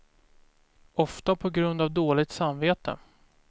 Ofta på grund av dåligt samvete.